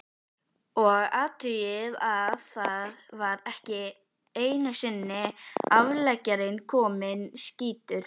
Og athugið að þá var ekki einusinni afleggjarinn kominn, skýtur